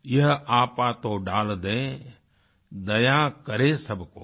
यह आपा तो डाल दे दया करे सब कोय